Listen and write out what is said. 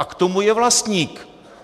A k tomu je vlastník!